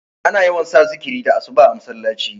ana yawan sa zikiri da asuba a masallaci